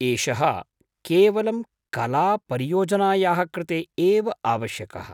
एषः केवलं कलापरियोजनायाः कृते एव आवश्यकः।